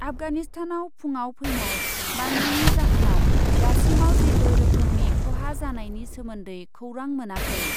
आफगानिस्तानाव फुङाव फैनाय बांग्रिनि जाहोनाव दासिमाव जेबो रोखोमनि ख'हा जानायनि सोमोन्दै खौरां मोनाखै।